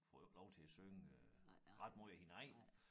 Får jo ikke lov til at synge øh ret måj af hendes eget